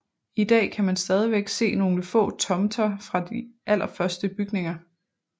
I dag kan man stadigvæk se nogle få tomter fra de allerførste bygninger